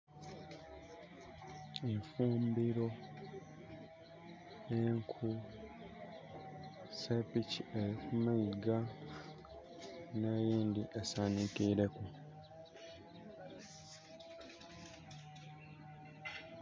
Eifumbiro, enku, sepiki eri ku maiga ne yindhi esandikireku.